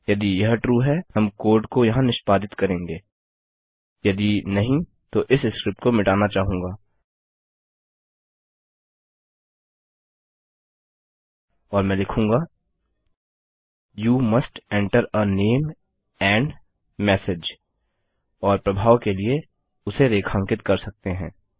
यदि नहीं तो इस स्क्रिप्ट को मिटाना चाहूँगा और मैं लिखूंगा you must enter a name and message और प्रभाव के लिए उसे रेखांकित कर सकते हैं